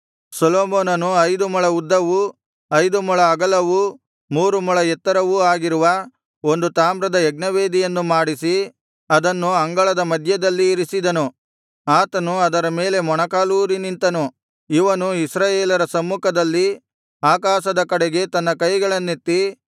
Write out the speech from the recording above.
ಸೊಲೊಮೋನನು ಐದು ಮೊಳ ಉದ್ದವೂ ಐದು ಮೊಳ ಅಗಲವೂ ಮೂರು ಮೊಳ ಎತ್ತರವೂ ಆಗಿರುವ ಒಂದು ತಾಮ್ರದ ಯಜ್ಞವೇದಿಯನ್ನು ಮಾಡಿಸಿ ಅದನ್ನು ಅಂಗಳದ ಮಧ್ಯದಲ್ಲಿ ಇರಿಸಿದನು ಆತನು ಅದರ ಮೇಲೆ ಮೊಣಕಾಲೂರಿ ನಿಂತನು ಅವನು ಇಸ್ರಾಯೇಲರ ಸಮ್ಮುಖದಲ್ಲಿ ಆಕಾಶದ ಕಡೆಗೆ ತನ್ನ ಕೈಗಳನ್ನೆತ್ತಿ